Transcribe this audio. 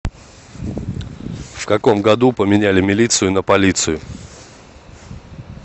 в каком году поменяли милицию на полицию